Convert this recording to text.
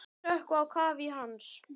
Þær sökkva á kaf í hans.